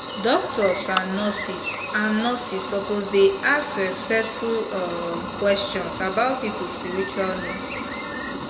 doctors and nurses and nurses suppose dey ask respectful um questions about people spiritual needs